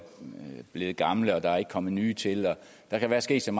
blevet gamle og der ikke er kommet nye til der kan være sket så